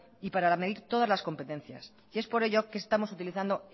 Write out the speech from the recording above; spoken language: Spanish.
y para medir todas las competencias y es por ello que estamos utilizando